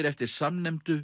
eftir samnefndu